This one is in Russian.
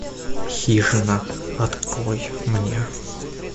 хижина открой мне